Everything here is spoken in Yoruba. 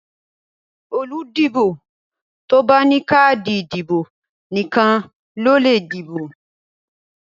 Olùdìbò tó bá ní káàdì ìdìbò nìkan ló lè dìbò.